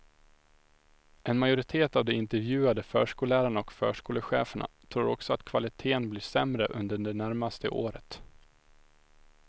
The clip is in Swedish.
En majoritet av de intervjuade förskollärarna och förskolecheferna tror också att kvaliteten blir sämre under det närmaste året.